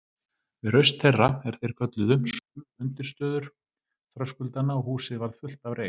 Við raust þeirra, er þeir kölluðu, skulfu undirstöður þröskuldanna og húsið varð fullt af reyk.